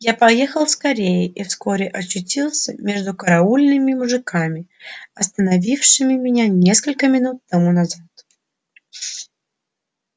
я поехал скорее и вскоре очутился между караульными мужиками остановившими меня несколько минут тому назад